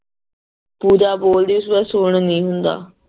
ਪੂਜਾ ਬੋਲਦੀ ਸੀ ਓਦੇ ਬਾਅਦ ਸੁਣ ਨੀ ਹੁੰਦਾ